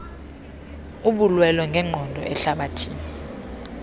lobulwelwe ngenqondo ehlabathini